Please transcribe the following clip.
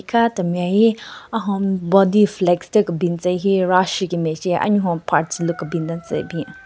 Ka temi ayi ahon body flex thyu kebin tsü hyu ro asheki mache anyuhon parts lu kebin den tsü bin.